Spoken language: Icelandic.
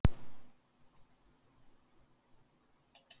Í Reykjavík eru bæði falleg og ljót hús.